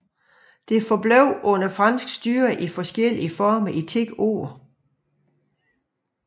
Det forblev under fransk styre i forskellige former i ti år